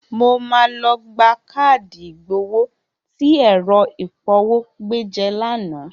Mo máa lọ gba káàdì ìgbowó tí ẹ̀rọ ìpọwó gbé jẹ lánàá.